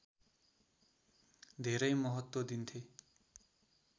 धेरै महत्त्व दिन्थे